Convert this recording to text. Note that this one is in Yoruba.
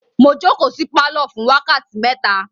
Mo jókòó sí pálọ̀ fún wákàtí mẹ́ta.